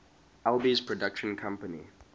alby's production company